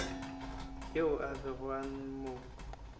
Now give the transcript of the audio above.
yoo a bego a mo